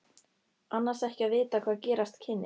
Annars ekki að vita hvað gerast kynni.